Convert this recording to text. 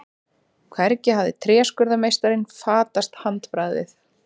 Hvergi hafði tréskurðarmeistaranum fatast handbragðið.